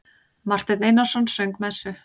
Marteinn Einarsson söng messu.